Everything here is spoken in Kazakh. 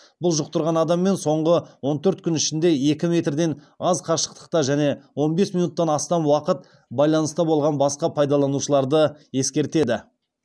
бұл жұқтырған адаммен соңғы он төрт күн ішінде екі метрден аз қашықтықта және он бес минуттан астам уақыт байланыста болған басқа пайдаланушыларды ескертеді